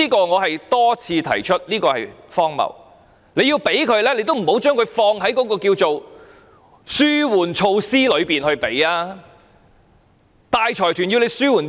我多次指出這做法荒謬，政府要給予大財團利益，也不要放在紓緩措施內，大財團要政府紓緩甚麼？